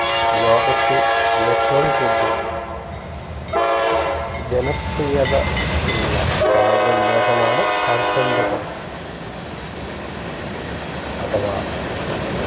ലോകത്ത് ഏറ്റവും കൂടുതൽ ജനപ്രിയത ഉള്ള കായിക വിനോദമാണ് കാൽപ്പന്ത് കളി അഥവാ foot ball